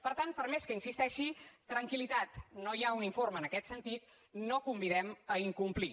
per tant per més que hi insisteixi tranquil·litat no hi ha un informe en aquest sentit no convidem a incomplir